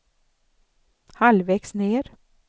halvvägs ned